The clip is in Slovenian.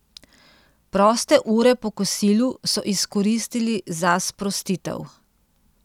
Proste ure po kosilu so izkoristili za sprostitev.